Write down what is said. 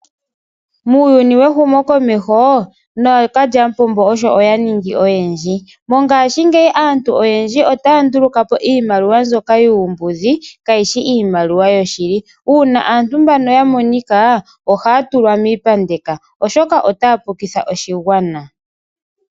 Muuyuni wehumokomeho nookalyamupombo osho ya ningi oyendji mongaashingeyi aantu otaya ndulukapo iimaliwa mbyoka yuumbudhi kaayishi iimaliwa yoshili uuna aantu mbano ya monika ohaya tulwa miipandeko oshoka otaya pukitha oshigwana.